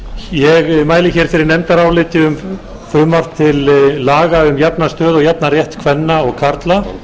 ég mæli fyrir nefndaráliti um frumvarp til laga um jafna stöðu og jafnan rétt kvenna og karla